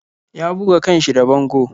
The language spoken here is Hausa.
Ya buga kan shi da bango.